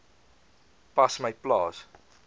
pas my plaas